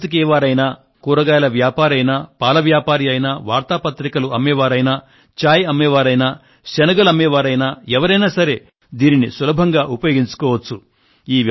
బట్టలు ఉతికేవారయినా కూరగాయల వ్యాపారి అయినా పాల వ్యాపారి అయినా వార్తా పత్రికలు అమ్మే వారైనా చాయ్ అమ్మే వారైనా శనగలు అమ్మే వారైనా ఎవరైనా సరే దీనిని సులభంగా ఉపయోగించుకోచ్చు